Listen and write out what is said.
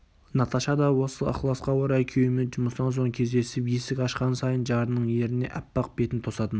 наташа да осы ықыласқа орай күйеуімен жұмыстан соң кездесіп есік ашқан сайын жарының ерніне аппақ бетін тосатын